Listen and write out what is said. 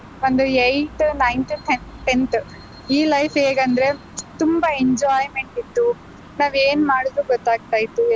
ಒಂದು eighth, ninth, tenth ಈ life ಹೇಗಂದ್ರೆ ತುಂಬಾ enjoyment ಇತ್ತು, ನಾವೇನ್ ಮಾಡಿದ್ರು ಗೊತ್ತಾಗ್ತ ಇತ್ತು.